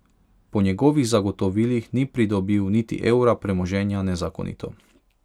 Po njegovih zagotovilih ni pridobil niti evra premoženja nezakonito.